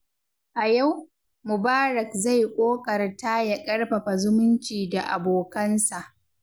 A yau, Mubarak zai ƙoƙarta ya ƙarfafa zumunci da abokansa.